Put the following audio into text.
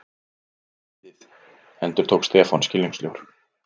Stríðið? endurtók Stefán skilningssljór.